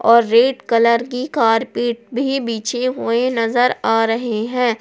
और red colour की carpet भी बिछे हुए नजर आ रहे हैं।